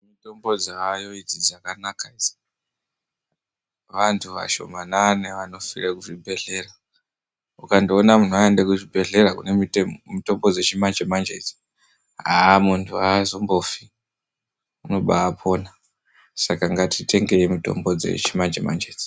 Mitombo dzaayo dzakanaka idzi, vantu vashoma nani vanofire kuchibhedhlera, ukangoona muntu aende kuchibhedhlera kune mitombo dzechimanje-manje idzi, haa muntu haazombofi unoba pona. Saka ngatitengei mitombo dzechimanje-manje idzi.